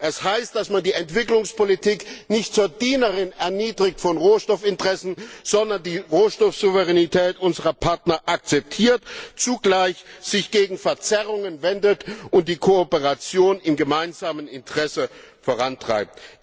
Das heißt, dass man die Entwicklungspolitik nicht zur Dienerin von Rohstoffinteressen erniedrigt, sondern die Rohstoffsouveränität unserer Partner akzeptiert, sich zugleich gegen Verzerrungen wendet und die Kooperation im gemeinsamen Interesse vorantreibt.